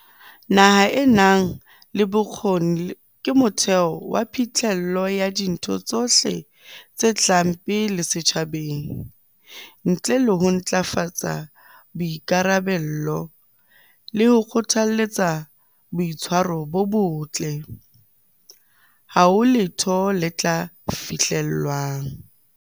Naha e nang le bokgoni ke motheo wa phihlello ya dintho tsohle tse tlang pele setjhabeng. Ntle le ho ntlafatsa boikarabello le ho kgothaletsa boitshwaro bo botle, ha ho letho le tla fihlellwang.